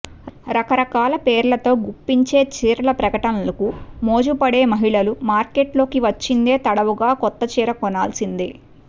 రకరకాల పేర్లతో గుప్పించే చీరల ప్రకటనలకు మోజుపడే మహిళలు మార్కెట్లోకి వచ్చిందే తడవుగా కొత్తచీర కొనాల్సిందే